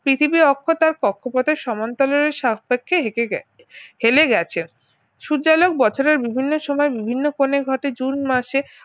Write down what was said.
পৃথিবীর অক্ষ তার কক্ষপথের সমান্তরালের সাপেক্ষে হেঁটে গেছে ফেলে গেছে সূর্যালোক বছরের বিভিন্ন সময় বিভিন্ন কোনে ঘটে জুন মাসে